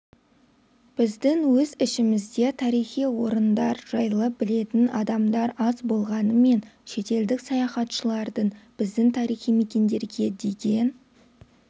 біздің өз ішімізде тарихи орындар жайлы білетін адамдар аз болғанымен шетелдік саяхатшылардың біздің тарихи мекендерге деген